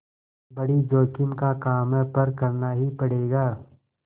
बड़ी जोखिम का काम है पर करना ही पड़ेगा